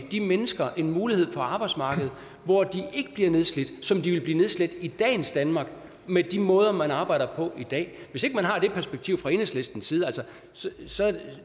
de mennesker en mulighed på arbejdsmarkedet hvor de ikke bliver nedslidte som de ville blive nedslidt i dagens danmark med de måder man arbejder på i dag hvis ikke man har det perspektiv fra enhedslistens side så er